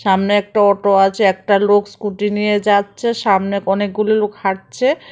সামনে একটা অটো আছে একটা লোক স্কুটি নিয়ে যাচ্ছে সামনে অনেকগুলি লোক হাঁটছে।